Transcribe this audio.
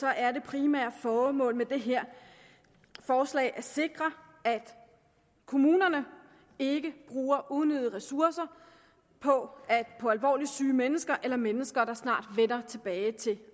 er det primære formål med det her forslag at sikre at kommunerne ikke bruger unødige ressourcer på alvorligt syge mennesker eller mennesker der snart vender tilbage til